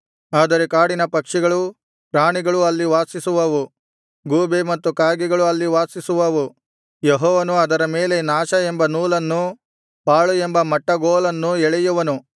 ಆದರೆ ಕಾಡಿನ ಪಕ್ಷಿಗಳು ಪ್ರಾಣಿಗಳು ಅಲ್ಲಿ ವಾಸಿಸುವವು ಗೂಬೆ ಮತ್ತು ಕಾಗೆಗಳು ಅಲ್ಲಿ ವಾಸಿಸುವವು ಯೆಹೋವನು ಅದರ ಮೇಲೆ ನಾಶ ಎಂಬ ನೂಲನ್ನೂ ಪಾಳು ಎಂಬ ಮಟ್ಟಗೋಲನ್ನೂ ಎಳೆಯುವನು